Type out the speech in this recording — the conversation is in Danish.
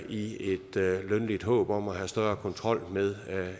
i et lønligt håb om at få større kontrol med